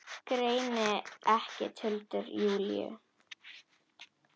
Greini ekki tuldur Júlíu.